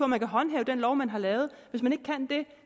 man kan håndhæve den lov man har lavet hvis man ikke kan det